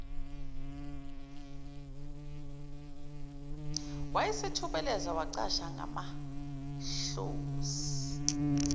wayesethubeleze wacasha ngamahlozi